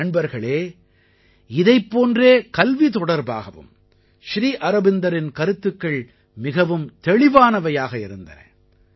நண்பர்களே இதைப் போன்றே கல்வி தொடர்பாகவும் ஸ்ரீ அரவிந்தரின் கருத்துக்கள் மிகவும் தெளிவானவையாக இருந்தன